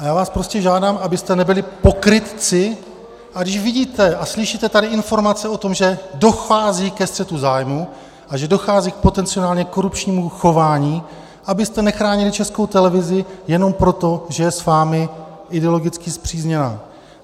A já vás prostě žádám, abyste nebyli pokrytci, a když vidíte a slyšíte tady informace o tom, že dochází ke střetu zájmů a že dochází k potenciálně korupčnímu chování, abyste nechránili Českou televizi jenom proto, že je s vámi ideologicky spřízněná.